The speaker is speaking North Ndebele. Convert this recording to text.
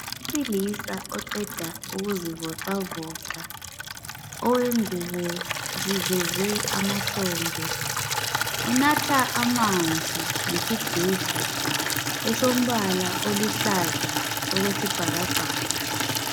Owesilisa oqeda ukuzivoxavoxa owengubo ziveze amahlombe unatha amanzi ngesigubhu esombala oluhlaza okwesibhakabhaka.